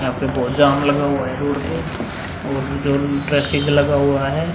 यहाँ पे बोहोत जाम लगा हुआ है रोड पे और ट्रैफिक लगा हुआ है।